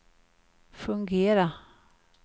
fungera